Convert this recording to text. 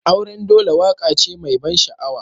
Auren dole waƙa ce mai ban sha'awa.